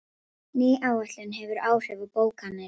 Ný áætlun hefur áhrif á bókanir